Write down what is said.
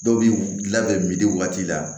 Dɔw bi labɛn waati la